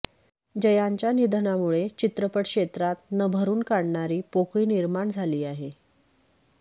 जयांच्या निधनामुळे चित्रपट क्षेत्रात न भरून काढणारी पोकळी निर्माण झाली आहे